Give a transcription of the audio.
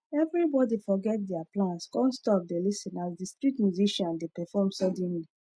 everybody forget their plans come stop dey lis ten as the street musician dey perform suddenly